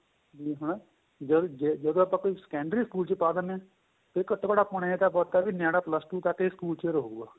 ਜਦੋਂ ਆਪਾਂ ਕੋਈ secondary ਸਕੂਲ ਚ ਪਾ ਦਿੰਨੇ ਹਾਂ ਕਿ ਘੱਟੋ ਘੱਟ ਆਪਾਂ ਨੂੰ ਏਹ ਤਾਂ ਪਤਾ ਨਿਆਣਾਂ plus two ਤੱਕ ਸਕੂਲ ਚ ਰਹੂਗਾ